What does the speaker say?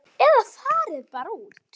Eða fara bara út.